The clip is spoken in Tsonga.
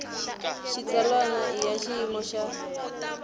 xitsalwana i ya xiyimo xa